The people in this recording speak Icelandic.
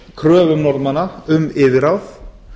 kröfum norðmanna um yfirráð